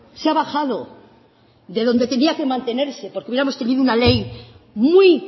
se ha bajado de donde tenía que mantenerse porque hubiéramos tenido una ley muy